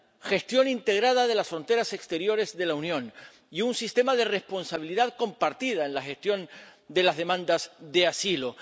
gestión integrada de las fronteras exteriores de la Unión y un sistema de responsabilidad compartida en la gestión de las demandas de asilo.